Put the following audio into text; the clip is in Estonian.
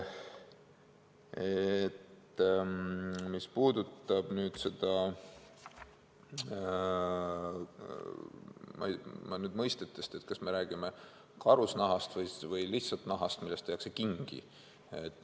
Mis puudutab nüüd seda, nüüd mõistetest, kas me räägime karusnahast või lihtsalt nahast, millest tehakse kingi.